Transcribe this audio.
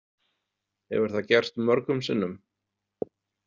Hefur það gerst mörgum sinnum?